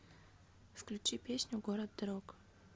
включи песню город дорог